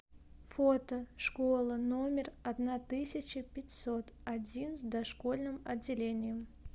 фото школа номер одна тысяча пятьсот один с дошкольным отделением